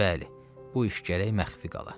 Bəli, bu iş gərək məxfi qala.